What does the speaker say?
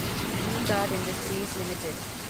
we Guard Industries limited